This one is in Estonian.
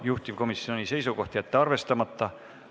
Juhtivkomisjoni seisukoht on jätta see arvestamata.